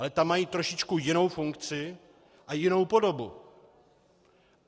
Ale tam mají trošičku jinou funkci a jinou podobu.